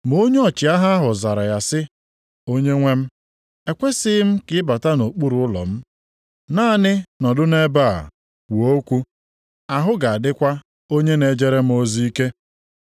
Ma onye ọchịagha ahụ zara ya sị, “Onyenwe m, ekwesighị m ka ị bata nʼokpuru ụlọ m. Naanị nọdụ nʼebe a, kwuo okwu, ahụ ga-adịkwa onye na-ejere m ozi ike.